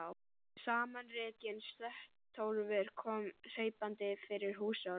Samanrekinn slöttólfur kom hlaupandi fyrir húshornið.